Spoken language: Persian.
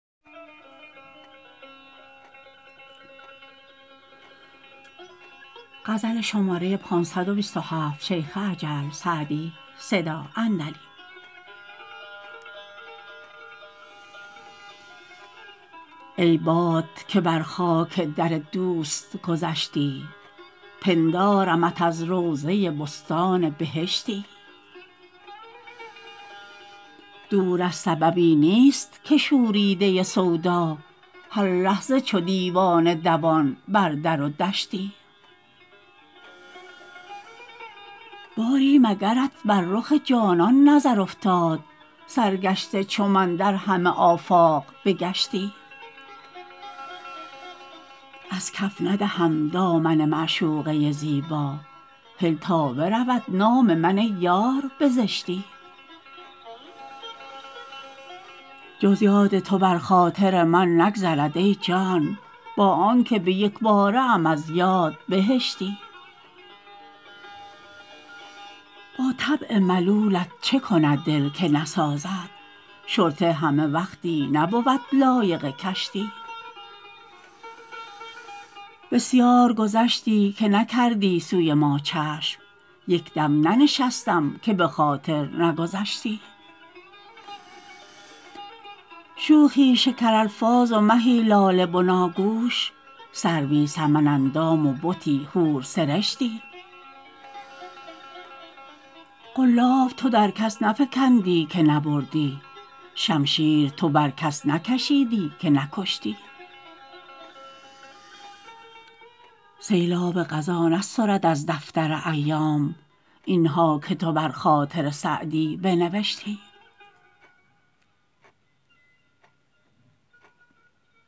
ای باد که بر خاک در دوست گذشتی پندارمت از روضه بستان بهشتی دور از سببی نیست که شوریده سودا هر لحظه چو دیوانه دوان بر در و دشتی باری مگرت بر رخ جانان نظر افتاد سرگشته چو من در همه آفاق بگشتی از کف ندهم دامن معشوقه زیبا هل تا برود نام من ای یار به زشتی جز یاد تو بر خاطر من نگذرد ای جان با آن که به یک باره ام از یاد بهشتی با طبع ملولت چه کند دل که نسازد شرطه همه وقتی نبود لایق کشتی بسیار گذشتی که نکردی سوی ما چشم یک دم ننشستم که به خاطر نگذشتی شوخی شکرالفاظ و مهی لاله بناگوش سروی سمن اندام و بتی حورسرشتی قلاب تو در کس نفکندی که نبردی شمشیر تو بر کس نکشیدی که نکشتی سیلاب قضا نسترد از دفتر ایام این ها که تو بر خاطر سعدی بنوشتی